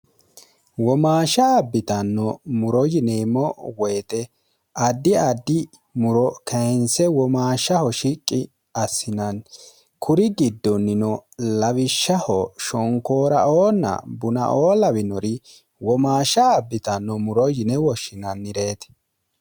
womaashsha abbitanno muro yineemmo woyixe addi addi muro keense womaashshaho shiqqi assinanni kuri giddonnino lawishshaho shonkoora oonna bunaoo lawinori womaashsha abbitanno muro yine woshshinannireeti